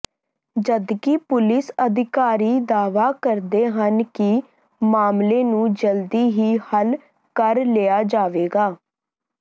ਜਦਕਿ ਪੁਲਿਸ ਅਧਿਕਾਰੀ ਦਾਅਵਾ ਕਰਦੇ ਹਨ ਕਿ ਮਾਮਲੇ ਨੂੰ ਜਲਦੀ ਹੀ ਹੱਲ ਕਰ ਲਿਆ ਜਾਵੇਗਾ